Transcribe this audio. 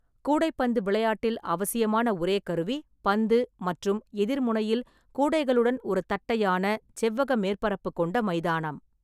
கூடைப்பந்து விளையாட்டில் அவசியமான ஒரே கருவி பந்து மற்றும் எதிர் முனையில் கூடைகளுடன் ஒரு தட்டையான, செவ்வக மேற்பரப்பு கொண்ட மைதானம்.